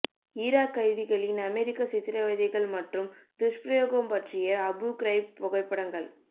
Iraq கைதிகளின் அமெரிக்க சித்திரவதைகள் மற்றும் துஷ்பிரயோகம் பற்றிய அபு கிரைப் புகைப்படங்கள்